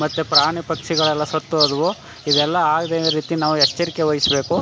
ಮತ್ತೆ ಪ್ರಾಣಿ ಪಕ್ಷಿಗಳೆಲ್ಲಾ ಸತ್ತ್ ಹೋದವು ಇದೆಲ್ಲಾ ಆಗದಂಗ್ ರೀತಿ ನಾವು ಎಚ್ಚರಿಕೆ ವಹಿಸ್ಬೇಕು.